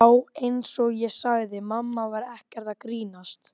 Og vill fá að vera í friði.